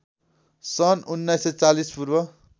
सन्‌ १९४० पूर्व